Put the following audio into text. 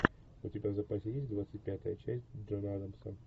у тебя в запасе есть двадцать пятая часть джона адамса